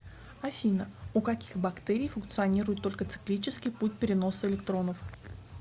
афина у каких бактерий функционирует только циклический путь переноса электронов